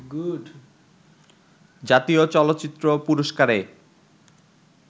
জাতীয় চলচ্চিত্র পুরস্কারে